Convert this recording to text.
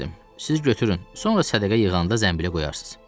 Siz götürün, sonra sədəqə yığanda zənbilə qoyarsız.